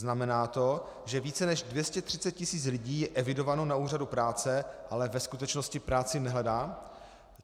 Znamená to, že více než 230 tisíc lidí je evidováno na úřadu práce, ale ve skutečnosti práci nehledá?